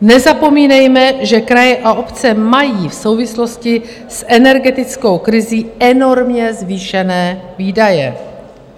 Nezapomínejme, že kraje a obce mají v souvislosti s energetickou krizí enormně zvýšené výdaje.